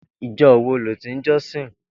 Ijò wó ló ti n jòsín